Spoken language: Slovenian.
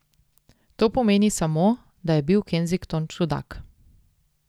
To pomeni samo, da je bil Kensington čudak.